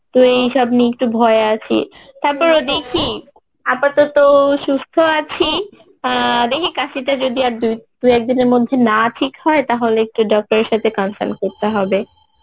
তো এইসব নিয়ে একটু ভয়ে আছি তারপরেও দেখি আপাতত সুস্থ আছি আহ দেখি কাশিটা যদি দুই দুই একদিনের মধ্যে না ঠিক হয়, তাহলে একটু doctor এর সাথে consult করতে হবে